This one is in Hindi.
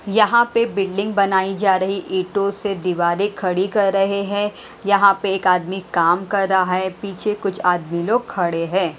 यहां पे बिल्डिंग बनायी जा रही ईंटों से दीवारें खड़ी कर रहे हैं यहां पे एक आदमी काम कर रहा है पीछे कुछ आदमी लोग खड़े हैं।